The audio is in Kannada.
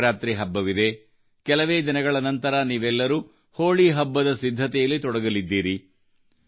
ಶಿವರಾತ್ರಿ ಹಬ್ಬವಿದೆ ಮತ್ತು ಕೆಲವೇ ದಿನಗಳ ನಂತರ ನೀವೆಲ್ಲರೂ ಹೋಳಿ ಹಬ್ಬದ ಸಿದ್ಧತೆಯಲ್ಲಿ ತೊಡಗಲಿದ್ದೀರಿ